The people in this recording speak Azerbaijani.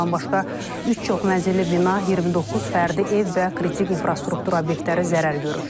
Bundan başqa üç çoxmənzilli bina, 29 fərdi ev və kritik infrastruktur obyektləri zərər görüb.